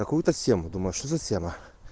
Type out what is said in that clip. какую-то тему думаешь что за тема